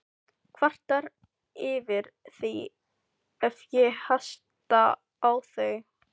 Kvartar yfir því ef ég hasta á þau.